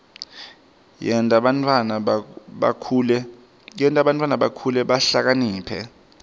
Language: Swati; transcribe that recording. yenta bantfwana bakhule bahlakaniphile